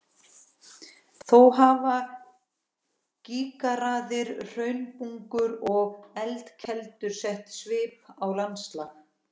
Þó hafa gígaraðir, hraunbungur og eldkeilur sett svip á landslag.